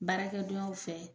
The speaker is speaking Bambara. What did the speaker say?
Baarakɛdonyaw fɛ